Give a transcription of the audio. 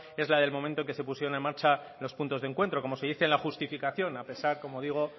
es la del momento en que se pusieron en marcha los puntos de encuentro como se dice en la justificación a pesar como digo